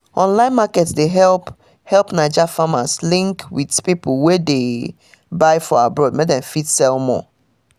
online market dey help help naija farmers link with people wey dey buy for abroad mek dem fit sell more